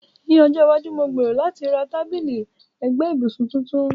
Ní ọjọ́ iwájú, mo gbèrò láti ra tábìlì ẹ̀gbẹ́ ibùsùn tuntun.